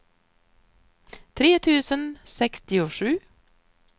tre tusen sextiosju